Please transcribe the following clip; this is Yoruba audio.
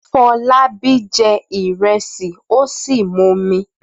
Fọlábí jẹ ìrẹsì ó sì mumi.